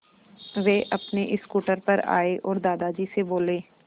वे अपने स्कूटर पर आए और दादाजी से बोले